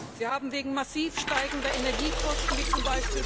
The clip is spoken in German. Sie haben wegen massiv steigender Energiekosten, wie z.